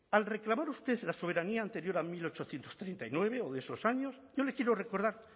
al reclamar usted la soberanía anterior a mil ochocientos treinta y nueve o de esos años yo les quiero recordar